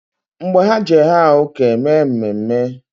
Mgbe ha Je haa uke e mee mmemne